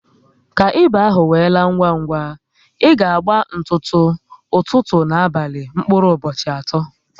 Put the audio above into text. Ka ịba ahụ we laa ngwa ngwa, ị ga agba ntutu, ụtụtụ ná abalị mkpụrụ ụbọchị atọ